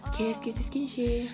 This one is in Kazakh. келесі кездескенше